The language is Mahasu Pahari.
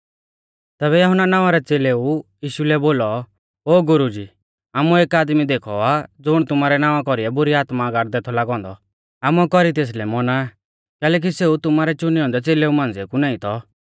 तैबै यहुन्ना नावां रै च़ेलेऊ यीशु लै बोलौ ओ गुरुजी आमुऐ एक आदमी देखौ आ ज़ुण तुमारै नावां कौरीऐ बुरी आत्मा गाड़दै थौ लागौ औन्दौ आमुऐ कौरी तेसलै मौना कैलैकि सेऊ तुमारै च़ुनै औन्दै च़ेलेऊ मांझ़िऐ कु नाईं थौ